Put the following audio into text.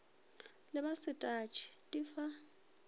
ba le setatšhe di fa